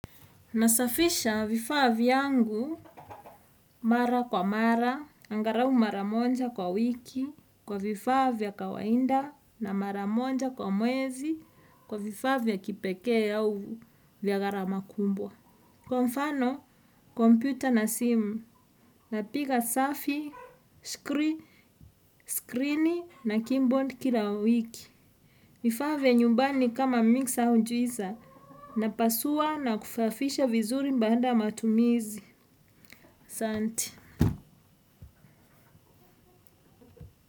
Nasafisha vifaa vyangu mara kwa mara, angarau mara monja kwa wiki, kwa vifaa viya kawainda na mara monja kwa mwezi, kwa vifaa vya kipeke ya uvu vya garama kumbwa. Kwa mfano, kompyuta na sim na piga safi, screen na keyboard kila wiki. Vifaa vya nyumbani kama mingisa unjuiza, napasua na kufafisha vizuri mbaanda matumizi. Santi.